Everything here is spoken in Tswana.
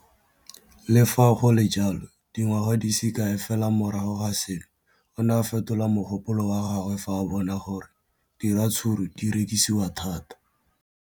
Le fa go le jalo, dingwaga di se kae fela morago ga seno, o ne a fetola mogopolo wa gagwe fa a bona gore diratsuru di rekisiwa thata.